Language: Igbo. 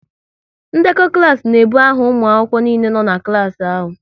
Ndekọ klas n'ebu aha ụmụ akwụkwọ niile nọ n'klas ahụ